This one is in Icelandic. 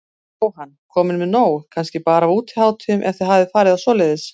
Jóhann: Komin með nóg kannski bara af útihátíðum, ef þið hafið farið á svoleiðis?